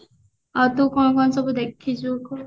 ଆଉ ତୁ କଣ କଣ ସବୁ ଦେଖିଚୁ କହ